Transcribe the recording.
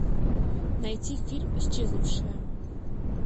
найти фильм исчезнувшая